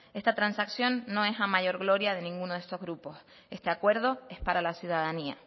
esta transacción no es la mayor gloria de ninguno de estos grupos este acuerdo es para la ciudadanía